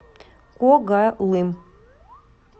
когалым